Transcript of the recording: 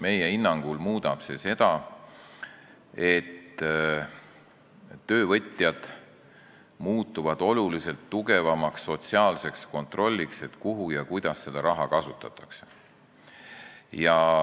Meie hinnangul muudab see seda, et töövõtjad muutuvad oluliselt tugevamaks sotsiaalseks kontrolliks, et kus ja kuidas seda raha kasutatakse.